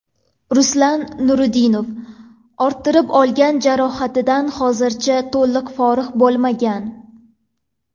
Ruslan Nuriddinov orttirib olgan jarohatidan hozircha to‘liq forig‘ bo‘lmagan.